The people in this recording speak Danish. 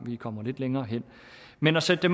kommer lidt længere hen men at sætte